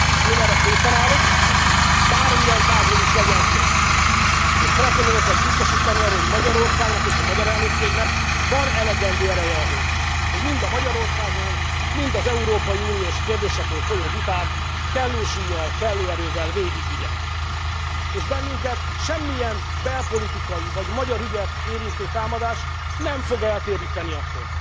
Én erre készen állok, bármilyen tárgyról is legyen szó, és szeretném önöket biztosítani arról, hogy Magyarországnak és a magyar elnökségnek van elegendő ereje ahhoz, hogy mind a Magyarországról, mind az európai unós kérdésekről folyó vitát kellő súllyal, kellő erővel végigvigye, és bennünket semmilyen belpolitikai vagy magyar ügyet érintő támadás nem fog eltéríteni attól,